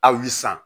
Aw ye san